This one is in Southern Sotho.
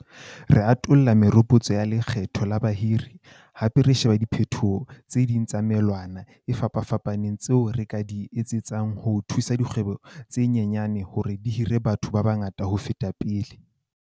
Re atolla meropotso ya lekgetho la bahiri, hape re sheba diphetoho tse ding tsa melawana e fapafapaneng tseo re ka di etsetsang ho thusa dikgwebo tse nyenyane hore di hire batho ba bangata ho feta pele.